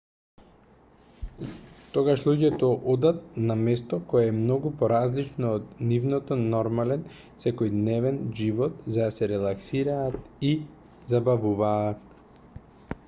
тогаш луѓето одат на место кое е многу поразлично од нивниот нормален секојдневен живот за да се релаксираат и забавуваат